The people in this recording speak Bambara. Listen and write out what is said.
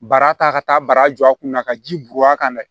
Bara ta ka taa baraja kunna ka ji bɔn a kan dɛ